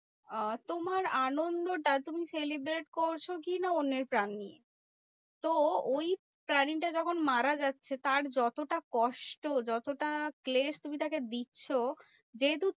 আহ তোমার আনন্দটা তুমি celebrate করছো কি না? অন্যের প্রাণ নিয়ে। তো ওই প্রাণীটা যখন মারা যাচ্ছে? তার যতটা কষ্ট যতটা ক্লেশ তুমি তাকে দিচ্ছো, যেহেতু